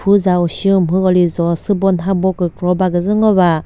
ushi umhüko lizo sübo nhano kükro baküzü ngo ba.